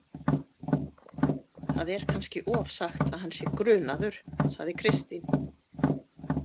Það er kannski ofsagt að hann sé grunaður, sagði Kristín.